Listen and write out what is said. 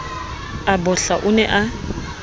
a bohla o ne a